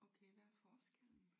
Okay hvad er forskellen?